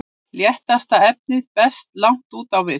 léttasta efnið berst langt upp á við